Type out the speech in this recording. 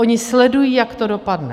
Oni sledují, jak to dopadne.